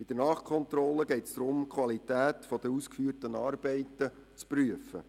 Bei der Nachkontrolle geht es darum, die Qualität der ausgeführten Arbeiten zu prüfen.